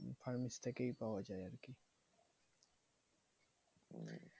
Pharmacist থেকেই পাওয়া যায় আরকি। উম